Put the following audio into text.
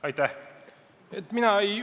Aitäh!